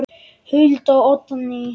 Hulda og Oddný.